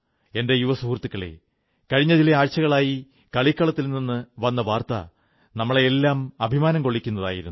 എന്റെ യുവ സുഹൃത്തുക്കളേ കഴിഞ്ഞ ചില ആഴ്ചകളായി കളിക്കളത്തിൽ നിന്നു വന്ന വാർത്തകൾ നമ്മെയെല്ലാം അഭിമാനംകൊള്ളിക്കുന്നതായിരുന്നു